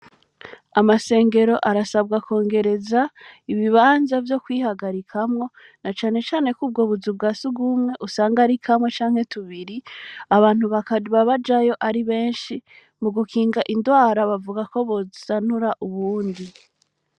Amashengero arasabwa kwongereza ibibanza vyo kwihagarikamwo, nacane cane ko ubwo buzu bwa sugumwe usanga ari kamwe canke tubiri, abantu bakaba bajayo ari benshi, mugukinga indwara bavuga ko bozisanura ubundi.